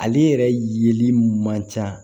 Ale yɛrɛ yeli man ca